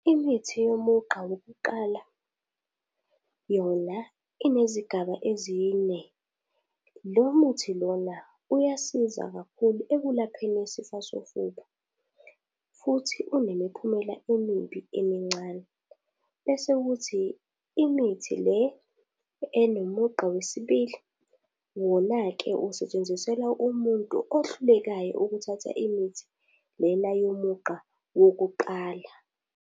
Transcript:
Imithi yomugqa wokuqala yona inezigaba ezine lo muthi lona uyasiza kakhulu ekulapheni isifo sofuba futhi inemiphumela emimbi emincane. Bese kuthi imithi le enomugqa wesibili wona ke usetshenziselwa umuntu ohlulekayo ukuthatha imithi lena yomugqa wokuqala.